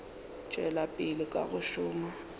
tšwela pele ka go šoma